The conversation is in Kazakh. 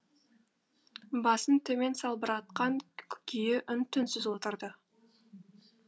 басын төмен салбыратқан күйі үн түнсіз отырды